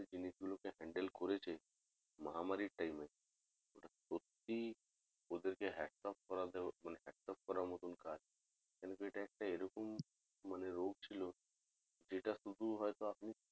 জিনিস গুলো কে handle করেছে মহামারীর time এ ওটা প্রতি ওদের কে মানে hatts off করার মতন কাজ কেনোকি এটা এরকমই মানে একটা রোগ ছিল যেটা শুধু হয়তো